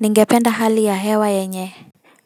Ningependa hali ya hewa yenye,